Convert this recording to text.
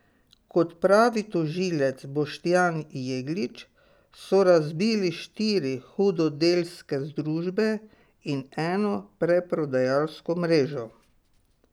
Kot pravi tožilec Boštjan Jeglič, so razbili štiri hudodelske združbe in eno preprodajalsko mrežo.